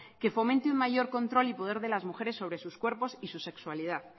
que fomente un mayor control y poder de las mujeres sobre sus cuerpos y su sexualidad